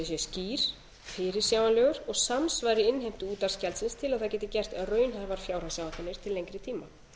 ríkisútvarpsins sé skýr fyrirsjáanlegur og samsvari innheimtu útvarpsgjaldsins til að það geti gert raunhæfar fjárhagsáætlanir til lengri tíma